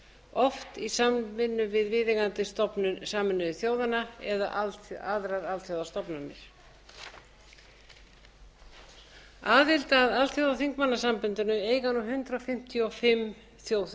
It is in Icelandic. oft í samvinnu við viðeigandi stofnun sameinuðu þjóðanna eða aðrar alþjóðastofnanir aðild að alþjóðaþingmannasambandinu eiga nú hundrað fimmtíu og fimm þjóðþing